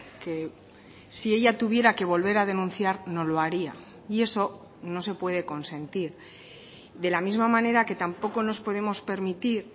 que si ella tuviera que volver a denunciar no lo haría y eso no se puede consentir de la misma manera que tampoco nos podemos permitir